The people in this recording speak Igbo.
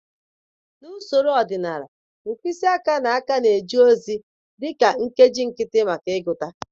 Na usoro ọdịnala mkpịsị aka na aka na-eje ozi dị ka nkeji nkịtị maka ịgụta.